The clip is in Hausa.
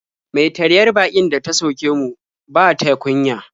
Mai taryar baƙin da ta sauke mu ba ta kunya.